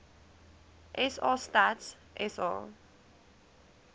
sa stats sa